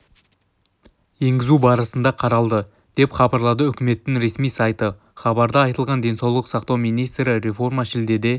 енгізу барысы қаралды деп хабарлады үкіметінің ресми сайты хабарда айтылғандай денсаулық сақтау министрі реформа шілдеде